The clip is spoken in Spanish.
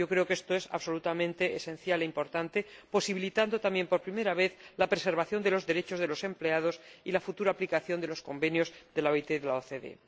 Creo que esto es absolutamente esencial e importante, posibilitando también por primera vez la preservación de los derechos de los empleados y la futura aplicación de los convenios de la OIT y de la OCDE.